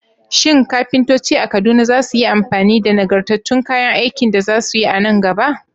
Shin kafintoci a Kaduna za su yi amfani da nagartattun kayan aikin da za su yi a nan gaba?